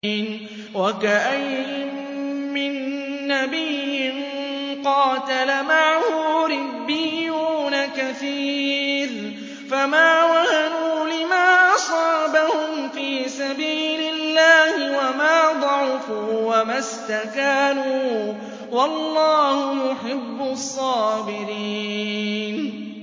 وَكَأَيِّن مِّن نَّبِيٍّ قَاتَلَ مَعَهُ رِبِّيُّونَ كَثِيرٌ فَمَا وَهَنُوا لِمَا أَصَابَهُمْ فِي سَبِيلِ اللَّهِ وَمَا ضَعُفُوا وَمَا اسْتَكَانُوا ۗ وَاللَّهُ يُحِبُّ الصَّابِرِينَ